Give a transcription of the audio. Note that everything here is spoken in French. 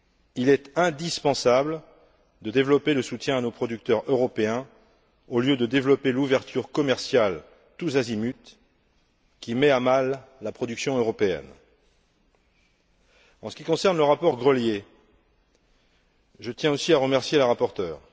Il est indispensable de développer le soutien à nos producteurs européens, au lieu de développer l'ouverture commerciale tous azimuts, qui met à mal la production européenne. En ce qui concerne le rapport Grelier, je tiens aussi à remercier la rapporteure.